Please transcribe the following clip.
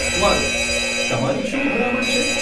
વારુ, તમારી શું ભલામણ છે?